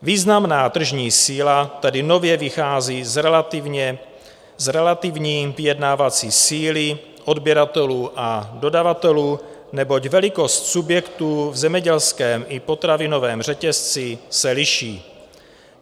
Významná tržní síla tedy nově vychází z relativní vyjednávací síly odběratelů a dodavatelů, neboť velikost subjektů v zemědělském i potravinovém řetězci se liší.